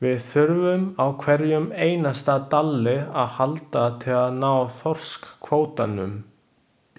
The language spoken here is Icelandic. Við þurfum á hverjum einasta dalli að halda til að ná þorskkvótanum.